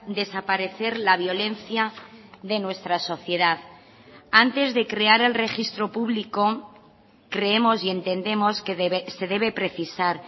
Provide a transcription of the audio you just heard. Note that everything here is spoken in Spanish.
desaparecer la violencia de nuestra sociedad antes de crear el registro público creemos y entendemos que se debe precisar